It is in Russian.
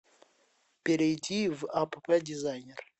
перейди в апп дизайнер